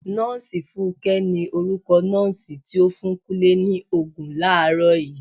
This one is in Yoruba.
Nọọsi fúnké ni orúkọ nọọsi ti o fún Kúnlé ni Ògùn làárọ̀ yii.